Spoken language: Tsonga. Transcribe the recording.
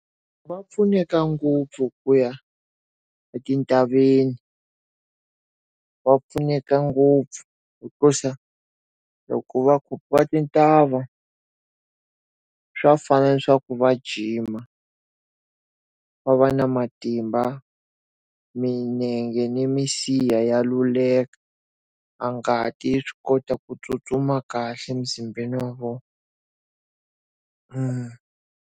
Va pfuneka ngopfu ku ya etintshaveni va pfuneka ngopfu hikusa loko va tintshava swa fana na swa ku va jima, va va na matimba, milenge ni minsiha ya luleka a ngati swi kota ku tsutsuma kahle mzimbeni wa vona .